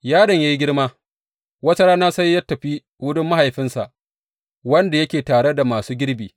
Yaron ya yi girma, wata rana sai ya tafi wurin mahaifinsa, wanda yake tare da masu girbi.